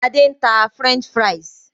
Adé ń tà "French fries".